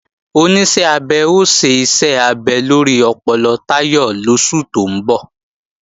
Oníṣẹ́ abẹ ó ṣe iṣẹ́ abẹ lórí ọpọlọ Táyọ̀ lóṣù tó ń bọ̀